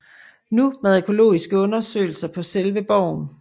Nu med arkæologiske undersøgelser på selve borgen